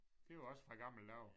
Det var også fra gamle dage